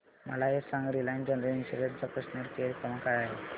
मला हे सांग रिलायन्स जनरल इन्शुरंस चा कस्टमर केअर क्रमांक काय आहे